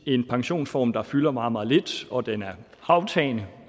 en pensionsform der fylder meget meget lidt og den er aftagende